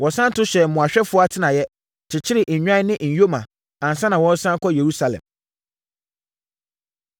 Wɔsane to hyɛɛ mmoahwɛfoɔ atenaeɛ, kyekyeree nnwan ne nyoma, ansa na wɔresane akɔ Yerusalem.